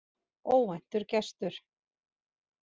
Óvæntur gestur